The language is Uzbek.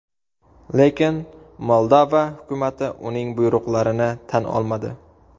Lekin Moldova hukumati uning buyruqlarini tan olmadi.